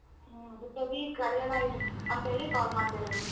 ಹ್ಮ ಕರ್ಯನ ಅಂತ್ ಹೇಳಿ call ಮಾಡ್ದೆ ನಾನು.